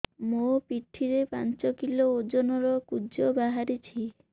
ମୋ ପିଠି ରେ ପାଞ୍ଚ କିଲୋ ଓଜନ ର କୁଜ ବାହାରିଛି